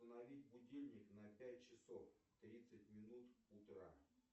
установить будильник на пять часов тридцать минут утра